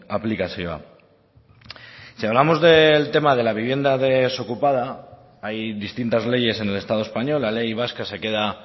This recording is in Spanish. aplikazioa si hablamos del tema de la vivienda desocupada hay distintas leyes en el estado español la ley vasca se queda